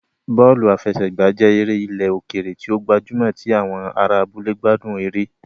Bọ́ọ̀lù àfẹsẹ̀gbá jẹ́ eré ilẹ̀ òkèèrè tí ó gbajúmọ̀ tí àwọn ará abúlé gbádùn eré